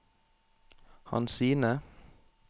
Hansine